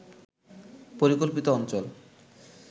পরিকল্পিত অঞ্চল